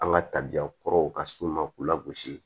An ka tabiyakɔrɔw ka s'u ma k'u lagosi